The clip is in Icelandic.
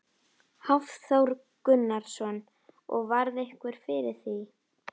Hafþór Gunnarsson: Og varð einhver fyrir því?